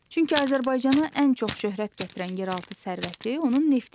Çünki Azərbaycana ən çox şöhrət gətirən yeraltı sərvəti onun neftidir.